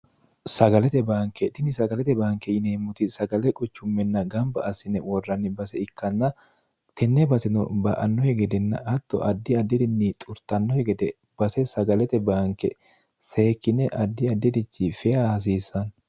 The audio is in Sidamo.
sagalete baanke tini sagalete baanke yineemmoti sagale quchumminna gamba asine worranni base ikkanna tinne basino ba annohi gedenna atto addi addi'rinni xurtannohi gede base sagalete baanke seekkine addi addirichi fea hasiisanno